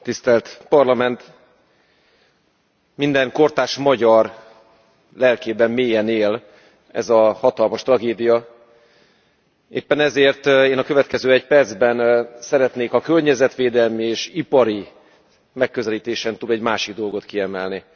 Elnök Asszony, minden kortárs magyar lelkében mélyen él ez a hatalmas tragédia. Éppen ezért én a következő egy percben szeretnék a környezetvédelmi és ipari megközelítésen túl egy másik dolgot kiemelni.